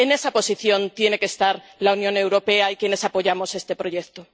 En esa posición tiene que estar la Unión Europea y quienes apoyamos este proyecto.